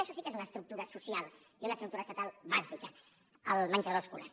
això sí que és una estructura social i una estructura estatal bàsica el menjador escolar